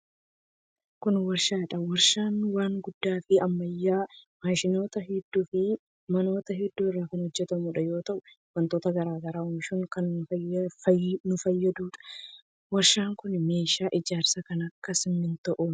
Kun warshaa dha. Warshaan waan guddaa fi ammayyawaa maashinoota hedduu fi manoota hedduu irraa kan hojjatamu yoo ta'u, wantoota garaa garaa oomishuuf kan fayyaduu dha. Warshaan kun meeshaa ijaarsaa kan akka simiintoo oomisha.